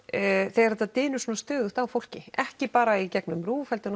þegar þetta dynur svona stöðugt á fólki ekki bara í gegnum RÚV heldur